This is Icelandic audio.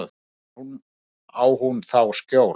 Hvar á hún þá skjól?